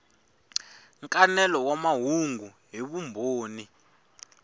nkanelo wa mahungu hi vumbhoni